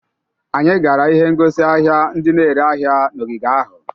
Anyị gara ihe ngosi ahia ndị na-ere ahịa n'ogige ahụ.